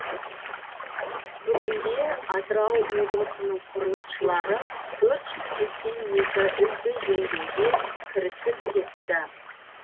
бүгінде атырау облысының құрылысшылары төрт жүз сексен екі үйді жөндеуге кірісіп кетті